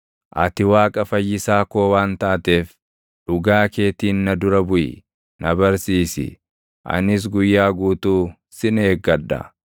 ati Waaqa Fayyisaa koo waan taateef, dhugaa keetiin na dura buʼi; na barsiisi; anis guyyaa guutuu sin eeggadha.